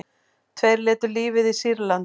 Tveir létu lífið í Sýrlandi